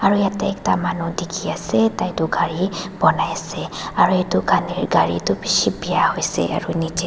aru ete ekta manu dekhi asa tai toh gari bunai asa aru etu gari toh bishi biya hoisey eru nichey tae.